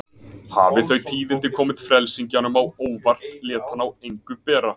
Hafi þau tíðindi komið frelsingjanum á óvart lét hann á engu bera.